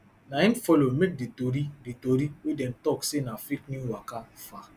na im follow make di tori di tori wey dem tok say na fake new waka far